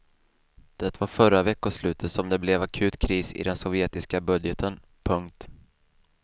Det var förra veckoslutet som det blev akut kris i den sovjetiska budgeten. punkt